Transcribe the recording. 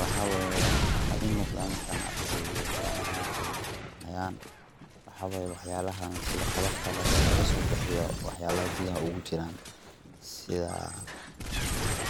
waxaa weeyo waxaa i muuqdaa markana ay waxyaabahaani ay hayaan waxbaayo waxyaalahaan sida qof kale ee laga soo bixiyo waxyaabaha gudaha ugu jiraan